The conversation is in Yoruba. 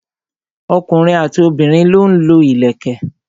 ọkùnrin àti obìnrin lọ ń lo ìlẹ̀kẹ̀.